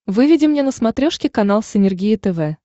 выведи мне на смотрешке канал синергия тв